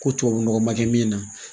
Ko tubabu nɔgɔ ma kɛ min na